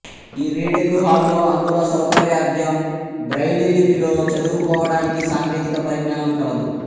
ఈ reading hall లో అంధుల సౌకర్యార్ధం బ్రైలి లిపిలో చదువుకోవడానికి సాంకేతిక పరిజ్ఞానం కలదు